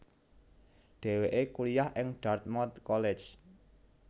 Dhèwèké kuliah ing Dartmouth College